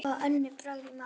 Fá önnur brögð í matinn.